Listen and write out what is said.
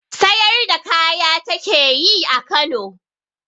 Sayar da kaya ta ke yi a Kano.